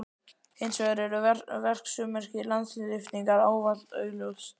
Hins vegar eru verksummerki landlyftingar ávallt augljós.